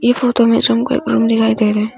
इस फोटो में झूम का एक रूम दिखाई दे रहा है।